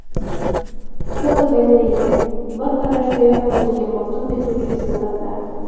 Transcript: Fotogalereya: Bir qarashdayoq o‘ziga maftun etuvchi suratlar.